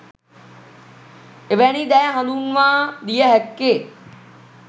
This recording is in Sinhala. එවැනි දෑ හඳුන්වාදිය හැක්කේ